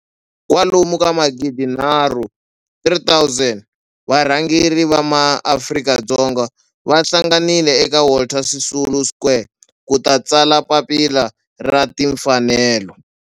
kwalomu ka magidi nharhu, 3 000, wa varhangeri va ma Afrika-Dzonga va hlanganile eka Walter Sisulu Square ku ta tsala Papila ra Timfanelo.